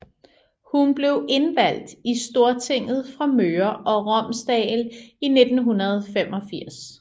Hun blev indvalgt i Stortinget fra Møre og Romsdal i 1985